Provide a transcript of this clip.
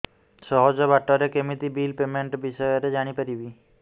ସହଜ ବାଟ ରେ କେମିତି ବିଲ୍ ପେମେଣ୍ଟ ବିଷୟ ରେ ଜାଣି ପାରିବି